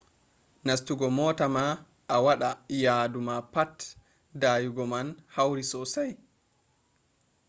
nastugo mota ma a waɗa yadu ma pat dayugo man hauri sosai